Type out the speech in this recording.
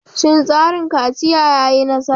Shin tsarin kaciya ya yi nasara?